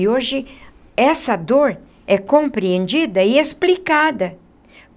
E hoje essa dor é compreendida e explicada.